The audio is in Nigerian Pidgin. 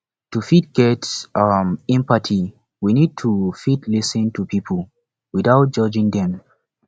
to fit get um empathy we need to fit lis ten to pipo without judging them